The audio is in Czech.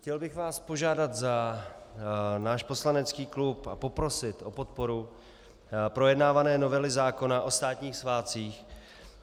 Chtěl bych vás požádat za náš poslanecký klub a poprosit o podporu projednávané novely zákona o státních svátcích.